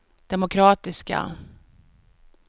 demokratiska